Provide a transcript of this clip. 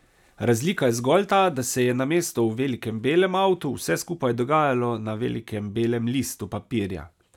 Razlika je zgolj ta, da se je namesto v velikem belem avtu vse skupaj dogajalo na velikem belem listu papirja.